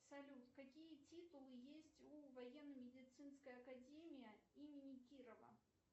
салют какие титулы есть у военно медицинской академии имени кирова